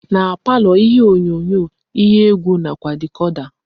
Na palọ ihe onyonyo, ihe egwu nakwa dicoda.